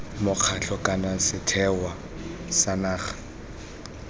mokgatlho kana sethwe sa naga